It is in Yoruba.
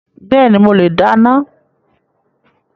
Bẹ́ẹ̀ni, mo le dáná